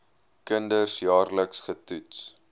kinders jaarliks getoets